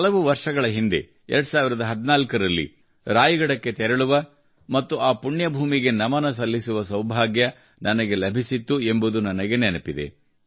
ಹಲವು ವರ್ಷಗಳ ಹಿಂದೆ 2014 ರಲ್ಲಿ ರಾಯಗಢಕ್ಕೆ ತೆರಳುವ ಮತ್ತು ಆ ಪುಣ್ಯಭೂಮಿಗೆ ನಮನ ಸಲ್ಲಿಸುವ ಸೌಭಾಗ್ಯ ನನಗೆ ಲಭಿಸಿತ್ತು ಎಂಬುದು ನನಗೆ ನೆನಪಿದೆ